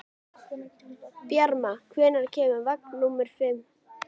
Bjarma, hvenær kemur vagn númer fimm?